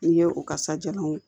N'i ye o kasajalanw ye